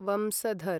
Vamsadhara